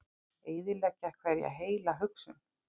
Eyðileggja hverja heila hugsun.